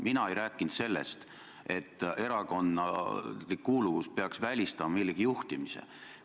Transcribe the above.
Mina ei rääkinud sellest, et erakondlik kuuluvus peaks välistama millegi juhtimise.